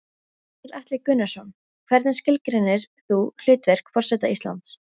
Gunnar Atli Gunnarsson: Hvernig skilgreinir þú hlutverk forseta Íslands?